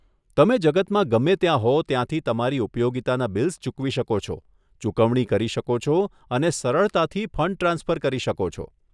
તમે જગતમાં ગમે ત્યાં હો ત્યાંથી તમારી ઉપયોગિતાના બિલ્સ ચૂકવી શકો છો, ચૂકવણી કરી શકો છો અને સરળતાથી ફંડ ટ્રાન્સફર કરી શકો છો.